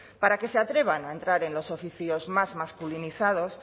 para que se atrevan a entrar en los oficios más masculinizados